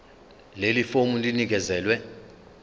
leli fomu linikezelwe